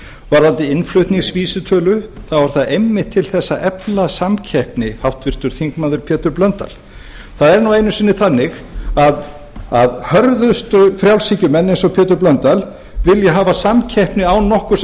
varðandi innflutningsvísitölu þá er það einmitt til að efla samkeppni háttvirtur þingmaður pétur blöndal það er einu sinni þannig að hörðustu frjálshyggjumenn eins og pétur blöndal vilja hafa samkeppni án nokkurs